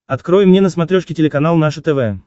открой мне на смотрешке телеканал наше тв